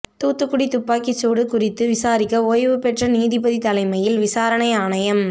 தூத்துக்குடி துப்பாக்கிச் சூடு குறித்து விசாரிக்க ஓய்வுபெற்ற நீதிபதி தலைமையில் விசாரணை ஆணையம்